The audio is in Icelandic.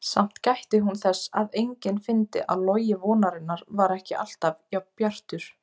Samt gætti hún þess að enginn fyndi að logi vonarinnar var ekki alltaf jafn bjartur.